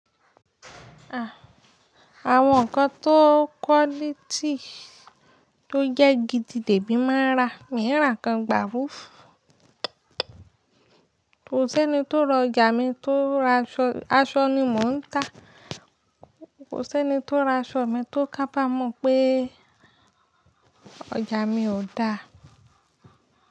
À, àwọn nǹkan tó quality tó jẹ́ gidi dèbí máa ń rà, mí rà kan gbàrúufu Ko ṣe ni tó ro ọjà mi tó raṣọ, aṣọ ni mò ń tà. Kò ṣe ni tó ra aṣọ mi tó kábamọ̀ pé ọjà mi ò da.